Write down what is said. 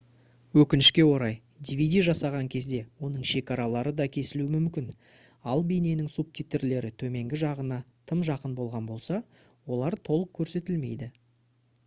өкінішке орай dvd жасаған кезде оның шекаралары да кесілуі мүмкін ал бейненің субтитрлері төменгі жағына тым жақын болған болса олар толық көрсетілмейді